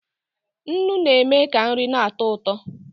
Nnu na-eme ka nri na-atọ ụtọ